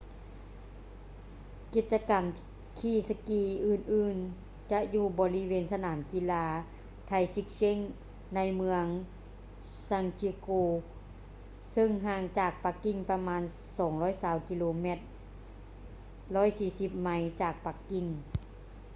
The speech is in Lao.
ກິດຈະກຳຂີ່ສະກີອື່ນໆຈະຢູ່ບໍລິເວນສະໜາມກິລາ taizicheng ໃນເມືອງ zhangjiakou ເຊິ່ງຫ່າງຈາກປັກກິ່ງປະມານ 220 ກິໂລແມັດ 140 ໄມລ໌ ຈາກປັກກິ່ງ